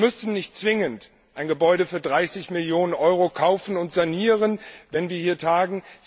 Wir müssen nicht zwingend ein Gebäude für 30 Millionen Euro kaufen und sanieren, um hier zu tagen.